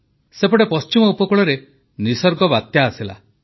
ସେପଟେ ପଶ୍ଚିମ ଉପକୂଳରେ ନିଃସର୍ଗ ବାତ୍ୟା ଆସିଲା